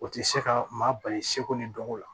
O tɛ se ka maa bali seko ni dɔnko la